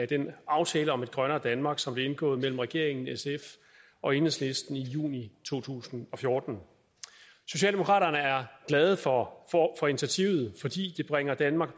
den aftale om et grønnere danmark som blev indgået mellem regeringen sf og enhedslisten i juni to tusind og fjorten socialdemokraterne er glade for initiativet fordi det bringer danmark